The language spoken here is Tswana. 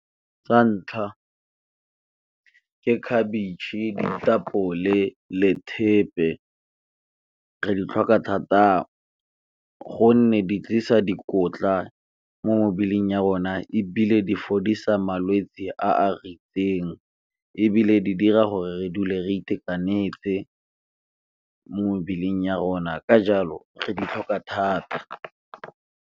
Sa ntlha ke khabetšhe, ditapole le thepe re di tlhoka thata gonne di tlisa dikotla mo mebeleng ya rona, ebile di fodisa malwetse a a . Ebile di dira gore re dule re itekanetse mo mebeleng ya rona ka jalo re di tlhoka thata.